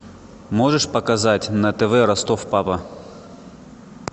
можешь показать на тв ростов папа